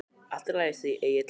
Allt í lagi, segir Egill.